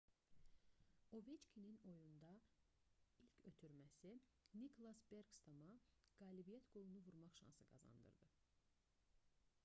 oveçkinin oyunda ilk ötürməsi niklas bekstorma qalibiyyət qolunu vurmaq şansı qazandırdı